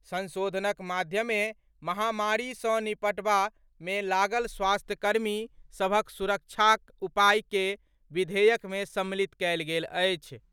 संशोधनक माध्यमे महामारी सँ निबटबा मे लागल स्वास्थ्यकर्मी सभक सुरक्षाक उपाय के विधेयक में सम्मिलित कएल गेल अछि।